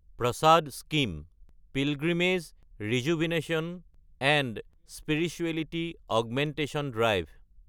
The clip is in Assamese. PRASAD scheme – pilgrimage rejuvenation and spirituality augmentation drive